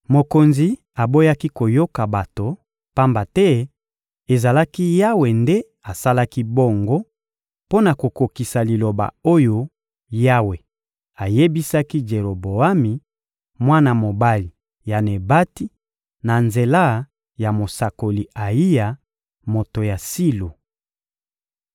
Mokonzi aboyaki koyoka bato, pamba te ezalaki Yawe nde asalaki bongo mpo na kokokisa liloba oyo Yawe ayebisaki Jeroboami, mwana mobali ya Nebati, na nzela ya mosakoli Ayiya, moto ya Silo.